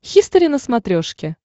хистори на смотрешке